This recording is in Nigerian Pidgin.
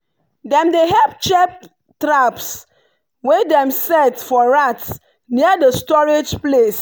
dem dey help check traps wey dem set for rats near the storage place.